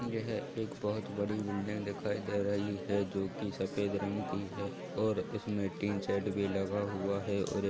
एक बहुत बड़ी बिल्डिंग दिखाई दे रही है जोकि सफ़ेद रंग की है और इसमे टिन शेड भी लगा हुआ है और ---